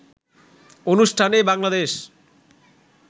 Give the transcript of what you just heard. অনুষ্ঠানে বাংলাদেশ